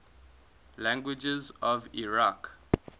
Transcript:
languages of iraq